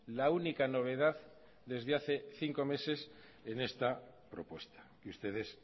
la única novedad desde hace cinco meses en esta propuesta que ustedes